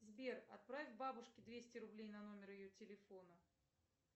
сбер отправь бабушке двести рублей на номер ее телефона